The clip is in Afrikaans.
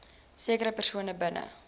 sekere persone binne